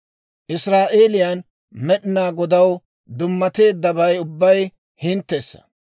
«Israa'eeliyaan Med'inaa Godaw dummateeddabay ubbay hinttessa.